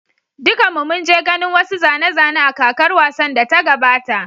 Dukanmu mun je ganin wasu zane-zane a kakar wasan da ta gabata.